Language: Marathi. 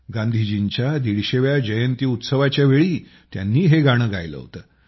गांधीजींच्या 150 व्या जयंती उत्सवाच्या वेळी त्यांनी हे गाणे गायले होते